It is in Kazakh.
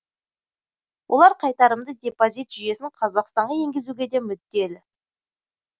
олар қайтарымды депозит жүйесін қазақстанға енгізуге де мүдделі